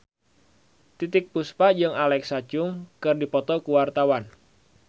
Titiek Puspa jeung Alexa Chung keur dipoto ku wartawan